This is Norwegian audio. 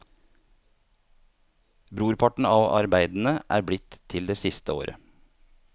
Brorparten av arbeidene er blitt til det siste året.